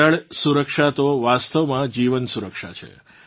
જલ સુરક્ષા તો વાસ્તવમાં જીવન સુરક્ષા છે